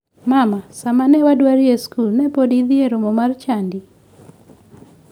Mama, sama ne wadari e skul ne podi idhi e romo mar chadi?